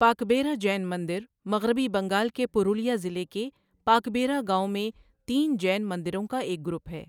پاکبیرا جین مندر مغربی بنگال کے پرولیا ضلع کے پاکبیرا گاؤں میں تین جین مندروں کا ایک گروپ ہے۔